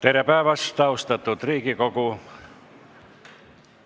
Tere päevast, austatud Riigikogu!